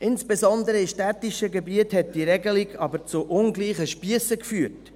Insbesondere in städtischen Gebieten hat diese Regelung aber zu ungleichen Spiessen geführt: